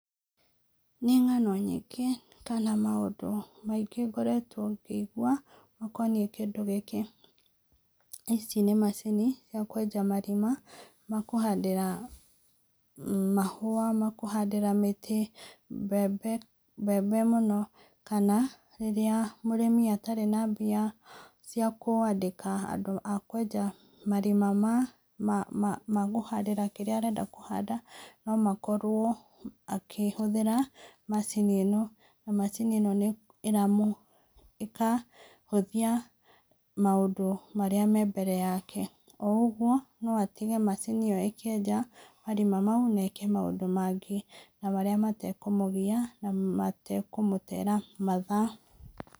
Nĩ ng'ano nyingĩ kana maũndũ maingĩ ngoretwo ngĩigua makoniĩ kĩndũ gĩkĩ, ici nĩ macini cia kwenja marima makũhandĩra mahua, makũhandĩra mĩtĩ, mbembe, mbembe mũno, kana rĩrĩa mũrĩmi atarĩ na mbia cia kwandĩka andũ akwenja marima ma makũhandĩra kĩrĩa arenda kũhanda, no makorwo akĩhũthĩra macini ĩno, na macini ĩno ĩramũ ĩkahũthia maũndũ marĩa me mbere yake, o ũguo no atige macini ĩyo ĩkĩenja marima mau, na eke maũndũ mangĩ, na marĩa matakũmũgia na matekũmũtera mathaa.